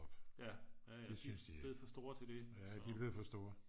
de er blevet for store til det